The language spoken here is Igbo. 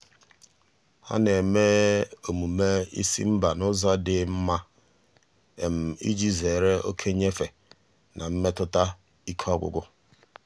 ọ na-eme omume ịsị mba n'ụzọ dị mma iji zere oke nyefe na mmetụta ike ọgwụgwụ.